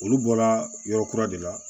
Olu bɔra yɔrɔ kura de la